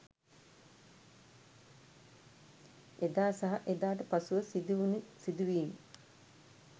එදා සහ එදාට පසුව සිදුවුනු සිදුවීම්